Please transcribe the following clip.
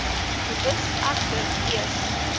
boetes egter eers